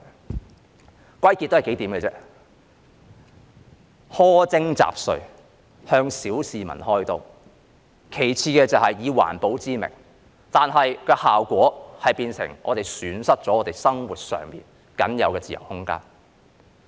這可歸納為幾點：苛徵雜稅，向小市民開刀，其次就是以環保為名，但效果卻變成我們損失了生活上僅有的自由空間。